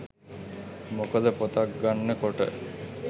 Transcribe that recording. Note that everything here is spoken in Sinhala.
මොකද පොතක් ගන්න කොට